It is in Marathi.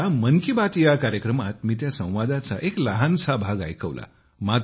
आता मन की बात कार्यक्रमात मी त्या संवादाचा एक लहानसा भाग ऐकवला